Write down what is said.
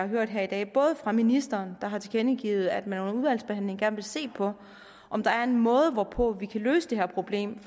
hørt her i dag også fra ministeren der har tilkendegivet at man under udvalgsbehandlingen gerne vil se på om der er en måde hvorpå vi kan løse det her problem